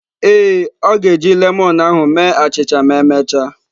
Ee, ọ ga-eji lemon ahu mee achịcha ma emechaa.